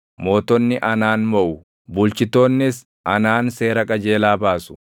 Mootonni anaan moʼu; bulchitoonnis anaan seera qajeelaa baasu.